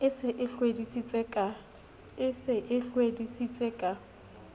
e se e hlwedisitse ka